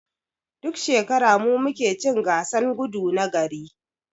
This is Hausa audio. Duk shekara mu muke cin gasan gudu na gari.